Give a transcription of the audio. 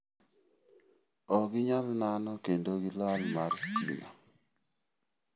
Ok ginyal nano kendo gi lal mar sitima.